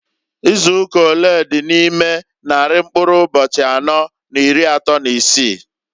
Izuụka olee dị n' ime nnarị mkụrụ ụbọchị anọọ n'iri atọọ n'isii?